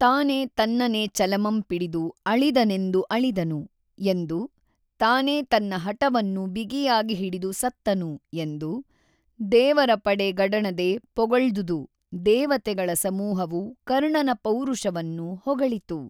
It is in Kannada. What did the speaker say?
ತಾನೆ ತನ್ನನೆ ಚಲಮಂ ಪಿಡಿದು ಅೞಿದನೆಂದು ಅಳಿದನು ಎಂದು ತಾನೆ ತನ್ನ ಹಟವನ್ನು ಬಿಗಿಯಾಗಿ ಹಿಡಿದು ಸತ್ತನು ಎಂದು ದೇವರಪಡೆ ಗಡಣದೆ ಪೊಗೞ್ದುದು ದೇವತೆಗಳ ಸಮೂಹವು ಕರ್ಣನ ಪೌರಷವನ್ನು ಹೊಗಳಿತು.